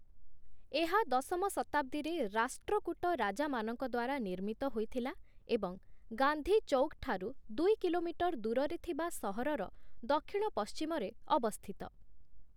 ଏହା ଦଶମ ଶତାବ୍ଦୀରେ ରାଷ୍ଟ୍ରକୂଟ ରାଜାମାନଙ୍କ ଦ୍ୱାରା ନିର୍ମିତ ହୋଇଥିଲା ଏବଂ ଗାନ୍ଧୀ ଚୌକ୍ ଠାରୁ ଦୁଇ କିଲୋମିଟର୍‌ ଦୂରରେ ଥିବା ସହରର ଦକ୍ଷିଣ-ପଶ୍ଚିମରେ ଅବସ୍ଥିତ ।